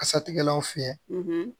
Kasatigɛlanw fiyɛ